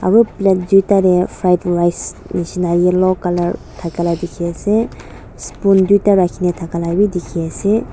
aro plate duita de fried rice nishina yellow color thaka la dikhi ase spoon duita rakhina thaka la bi dikhi ase.